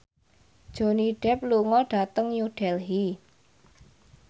Johnny Depp lunga dhateng New Delhi